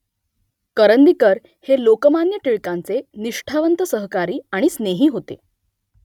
करंदीकर हे लोकमान्य टिळकांचे निष्ठावंत सहकारी आणि स्नेही होते